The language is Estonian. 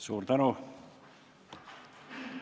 Suur tänu!